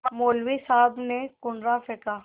मौलवी साहब ने कुर्रा फेंका